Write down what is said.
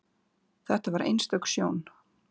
Þetta var einstök sjón.